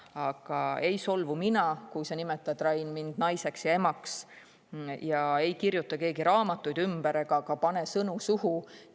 Aga mina ei solvu, kui sa, Rain, nimetad mind naiseks ja emaks, ei kirjuta keegi raamatuid ümber ega pane ka sõnu suhu.